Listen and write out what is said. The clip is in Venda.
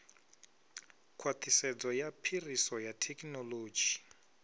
khwaṱhisedzo ya phiriso ya thekinolodzhi